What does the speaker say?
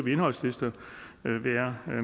indholdslister